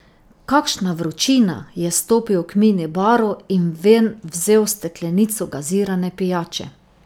Kakšna vročina, je stopil k mini baru in ven vzel steklenico gazirane pijače.